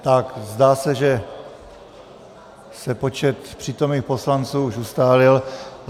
Tak , zdá se, že se počet přítomných poslanců už ustálil.